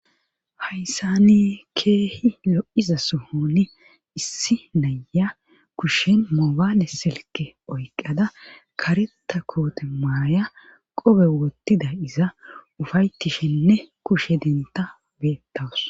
Hayssani keehi lo7iza suhoni issi naya kushen moobaale selke oyqada kareta koote maaya qobe wottida iza ufayttishenne kushe denta beettawus